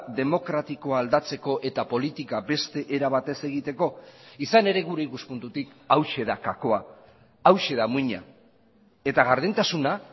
demokratikoa aldatzeko eta politika beste era batez egiteko izan ere gure ikuspuntutik hauxe da gakoa hauxe da muina eta gardentasuna